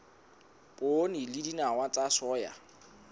poone le dinawa tsa soya